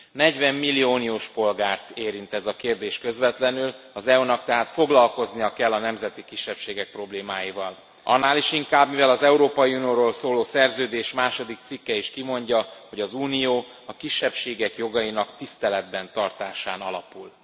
40 millió uniós polgárt érint ez a kérdés közvetlenül, az EU nak tehát foglalkoznia kell a nemzeti kisebbségek problémáival. Annál is inkább, mivel az Európai Unióról szóló Szerződés második cikke is kimondja, hogy az Unió a kisebbségek jogainak tiszteletben tartásán alapul.